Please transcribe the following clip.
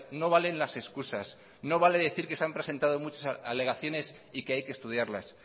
no valen las excusas no vale decir que se han presentado muchas alegaciones y que hay que estudiarlas